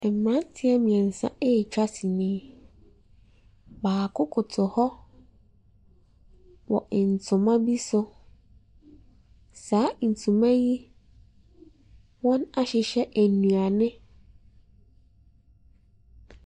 Mmeranteɛ mmeɛnsa retwa sini. Baako koto hɔ wɔ ntoma bi so. Saa ntoma yi, wɔahyehyɛ nnuane .